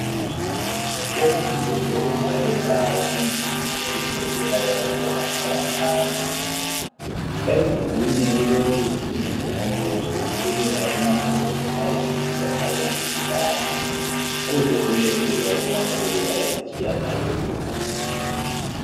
Umduli wokubhalela wasendlini yokufundela yabantwana abancane. Emdulini kuloluhlu lwezinombolo zisukela kumakhulu ayisitshiyagalombili lanye kuze kuyefika kumakhulu ayisitshiyagalolunye.